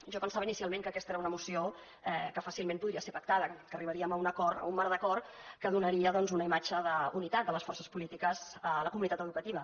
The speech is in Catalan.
jo pensava inicialment que aquesta era una moció que fàcilment podria ser pactada que arribaríem a un acord a un marc d’acord que donaria doncs una imatge d’unitat de les forces polítiques a la comunitat educativa